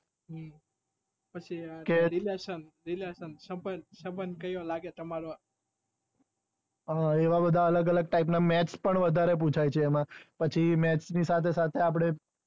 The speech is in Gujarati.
relation સબંધ કયો લાગે તમારે .